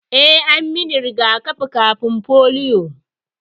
Eh, an min riga-kafin polio.